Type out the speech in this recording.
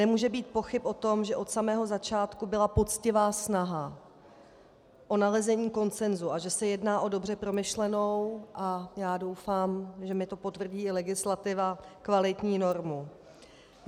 Nemůže být pochyb o tom, že od samého začátku byla poctivá snaha o nalezení konsenzu a že se jedná o dobře promyšlenou, a já doufám, že mi to potvrdí i legislativa, kvalitní normu.